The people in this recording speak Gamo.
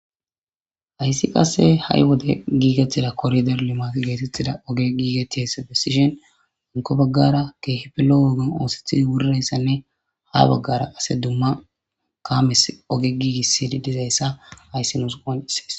hayssi qasse ha7i wode giigethida korider limafi geetettida oge giigetihese besishen anko baggara keehipelo wogan oosethi wurrayssanne ha baggara ase dumma kaames oge giigissidi dizayssa hayssi nusu qonsees